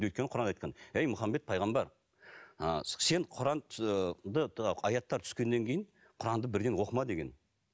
өйткені құранда айтқан ей мұхаммед пайғамбар ы сен құранды аяттар түскеннен кейін құранды бірден оқыма деген